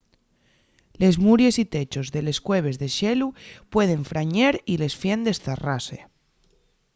les muries y techos de les cueves de xelu pueden frañer y les fiendes zarrase